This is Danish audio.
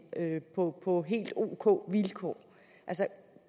på på helt ok vilkår altså